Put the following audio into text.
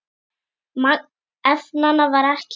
Magn efnanna var ekki greint.